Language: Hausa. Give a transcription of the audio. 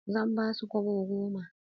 Zan ba su kobo goma.